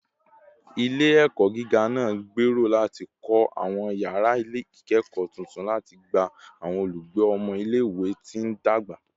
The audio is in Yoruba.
Ile-ẹkọ giga naa ngbero lati kọ awọn yara ikẹkọ tuntun lati gba awọn olugbe ọmọ ile-iwe ti ndagba